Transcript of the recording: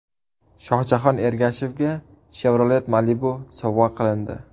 Shohjahon Ergashevga Chevrolet Malibu sovg‘a qilindi.